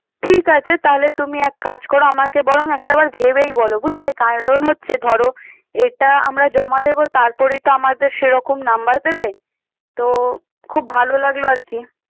ঠিক আছে, তাহলে তুমি এক কাজ করো আমাকে বরং একটা বার ভেবেই বলো বুঝলে। কারণ হচ্ছে ধরো এটা আমরা জমা দেব তারপরেই তো আমাদের সেরকম nubmer দেবে তো তো খুব ভালো লাগলো আর কি।